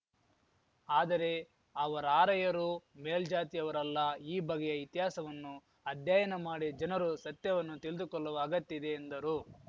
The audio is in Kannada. ಆದರೆ ಅವರಾರ‍ಯರು ಮೇಲ್ಜಾತಿಯವರಲ್ಲ ಈ ಬಗೆಯ ಇತಿಹಾಸವನ್ನು ಅಧ್ಯಯನಮಾಡಿ ಜನರು ಸತ್ಯವನ್ನು ತಿಳಿದುಕೊಲ್ಲುವ ಅಗತ್ಯ ಇದೆ ಎಂದರು